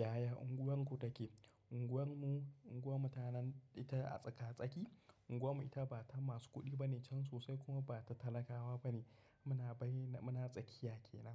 Yaya unguwarku take? Unguwar mu, unguwarmu ta nan ita a tsaka-tsaki. Unguwar mu ita ba ta masu kuɗi bane can sosai kuma ba ta talakawa bane. Muna bayinan muna tsakiya kenan.